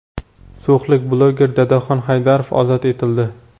So‘xlik bloger Dadaxon Haydarov ozod etildi.